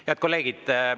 Head kolleegid!